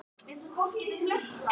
Segðu henni að hætta við það.